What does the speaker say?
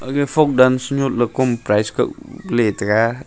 aga folk dance nyot le kom prize kap le tega ig--